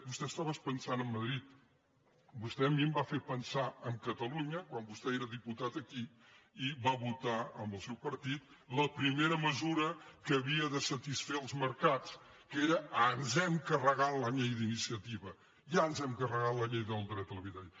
vostè estava pensant en madrid vostè a mi em va fer pensar en catalunya quan vostè era diputat aquí i va votar amb el seu partit la primera mesura que havia de satisfer els mercats que era ens hem carregat la llei d’iniciativa ja ens hem carregat la llei del dret a l’ha·bitatge